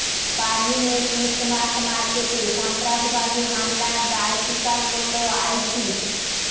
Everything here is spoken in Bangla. বার্লিনে ক্রিসমাস মার্কেটে সন্ত্রাসবাদী হামলার দায় স্বীকার করল আইসিস